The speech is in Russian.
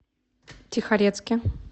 тихорецке